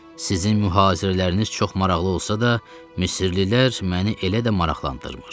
Sizin mühazirələriniz çox maraqlı olsa da, Misirlilər məni elə də maraqlandırmır.